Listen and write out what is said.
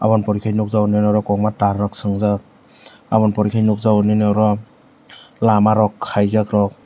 aboni pore nukjakgo nini oro kwbangma tar rok sungjak abo ni pore khe nukjakgo lama rok khaijak rok.